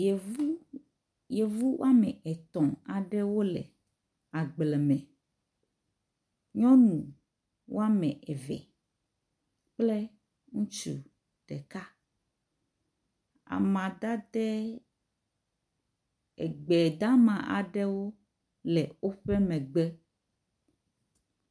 Yevu yevu woame etɔ̃ aɖewo le agble me. Nyɔnu woame eve kple ŋutsu ɖeka. Amadade, egbe dama aɖewo le woƒe megbe.